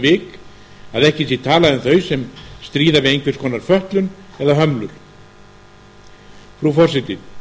vik að ekki sé talað um þau sem stríða við einhvers konar fötlun eða hömlur frú forseti